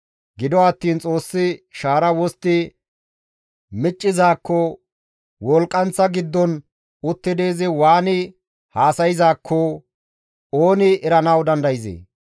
Gido attiin Xoossi shaara wostti miccizaakko, wolqqanththa giddon uttidi izi waani haasayzaakko ooni eranawu dandayzee?